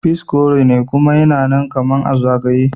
Peas korene kuma yana nan kaman a zagaye.